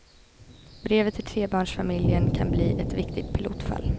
Brevet till trebarnsfamiljen kan bli ett viktigt pilotfall.